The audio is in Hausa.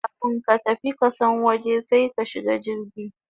Kafun ka tafi kasan waje sai ka shiga jirgi